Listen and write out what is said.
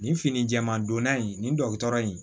Nin fini jɛman donna in nin dɔgɔtɔrɔ in